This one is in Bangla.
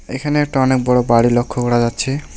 এখানে একটা অনেক বড়ো বাড়ি লক্ষ্য করা যাচ্ছে।